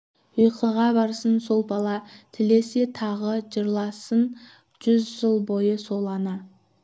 ұйқыға барсын сол бала тілесе тағы жырласын жүз жыл бойы сол ана